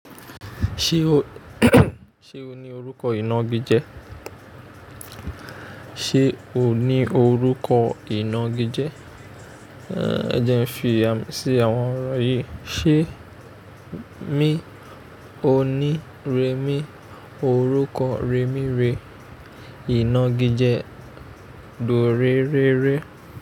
Ṣé o ní orúkọ ìnagijẹ? Ṣé o ní orúkọ ìnagijẹ? Ẹ jẹ́ n fi àmì sí àwon òrò yìí. Ṣé mi o ní rẹmi orúkọ rẹmi re ìnagijẹ dórere.